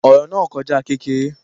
Ọ̀rọ̀ náà kọjá kékeré